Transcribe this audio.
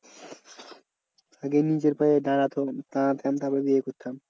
আগে নিজের পায়ে দাঁড়াতো দাঁড়াতাম তারপরে বিয়ে করতাম।